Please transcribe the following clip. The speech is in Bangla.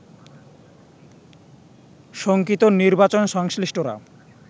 শঙ্কিত নির্বাচনসংশ্লিষ্টরা